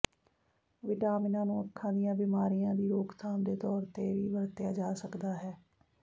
ਵਿਟਾਮਿਨਾਂ ਨੂੰ ਅੱਖਾਂ ਦੀਆਂ ਬਿਮਾਰੀਆਂ ਦੀ ਰੋਕਥਾਮ ਦੇ ਤੌਰ ਤੇ ਵੀ ਵਰਤਿਆ ਜਾ ਸਕਦਾ ਹੈ